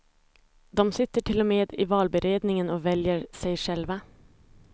De sitter till och med med i valberedningen och väljer sig själva.